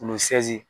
Kunkolo sɛnzi